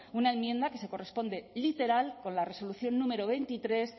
una enmienda que se corresponde literal con la resolución número veintitrés